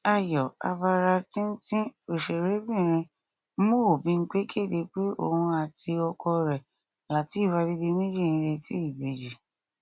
ayọ abara tínńtín ọsẹrẹbìnrin mo bímpẹ kéde pé òun àti ọkọ rẹ látèéf adédìméjì ń retí ìbejì